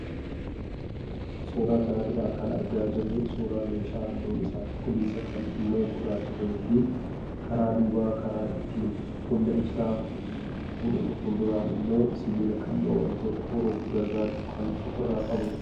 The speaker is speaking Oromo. Suuraa kanarraa kan argaa jirru suuraa meeshaa halluun isaa cuquliisa kaan immoo gurraacha ta'ee fi karaa duubaa karaa ittiin humna ibsaa fuhdtu fuulduraan immoo sibiila qal'oo wantoota uruuf gargaartu kan ofirraa qabudha.